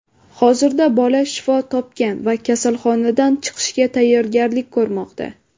Hozirda bola shifo topgan va kasalxonadan chiqishga tayyorgarlik ko‘rmoqda.